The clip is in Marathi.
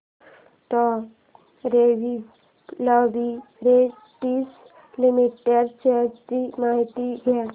डॉ रेड्डीज लॅबाॅरेटरीज लिमिटेड शेअर्स ची माहिती द्या